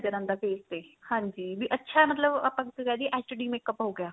ਨਜਰ ਆਉਂਦਾ face ਤੇ ਹਾਂਜੀ ਵੀ ਅੱਛਾ ਮਤਲਬ ਆਪਾਂ ਕਿਸੇ ਨੂੰ ਕਿਹ ਦੀਏ HD makeup ਹੋ ਗਿਆ